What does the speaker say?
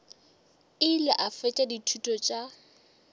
ile a fetša dithuto tša